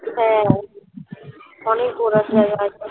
হ্যাঁ অনেক ঘোড়ার জায়গা আছে